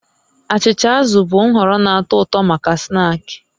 Achịcha azụ bụ nhọrọ na-atọ ụtọ maka snaakị